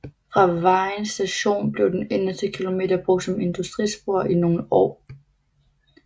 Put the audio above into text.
Fra Vejen Station blev den inderste kilometer brugt som industrispor i nogle år